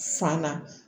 San na